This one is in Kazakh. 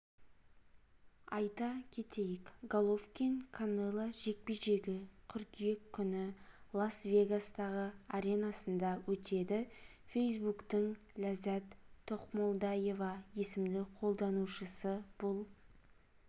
айта кетейік головкин канело жекпе-жегі қыркүйек күні лас-вегастағы аренасында өтеді фейсбуктің ләззат тоқмолдаева есімді қолданушысы бұл